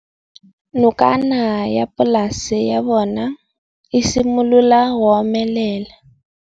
Nokana ya polase ya bona, e simolola go omelela.